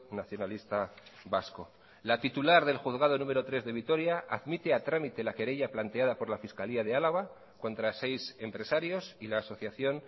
nacionalista vasco la titular del juzgado número tres de vitoria admite a trámite la querella planteada por la fiscalía de álava contra seis empresarios y la asociación